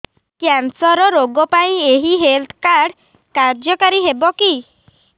cancer ରୋଗ ପାଇଁ ଏଇ ହେଲ୍ଥ କାର୍ଡ କାର୍ଯ୍ୟକାରି ହେବ କି